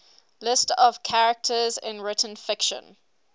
lists of characters in written fiction